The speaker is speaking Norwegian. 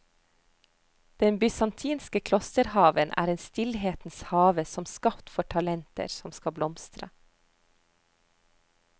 Den bysantinske klosterhaven er en stillhetens have som skapt for talenter som skal blomstre.